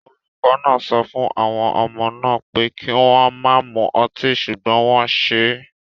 Olùkọ́ náà sọ fún àwọn ọmọ náà pé kí wọ́n má mu ọtí ṣùgbọ́n wọ́n ṣe é